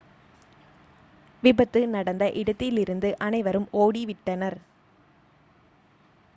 விபத்து நடந்த இடத்திலிருந்து அனைவரும் ஓடிவிட்டனர்